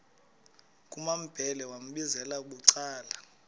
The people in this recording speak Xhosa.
kumambhele wambizela bucala